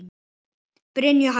Brynja og Harpa.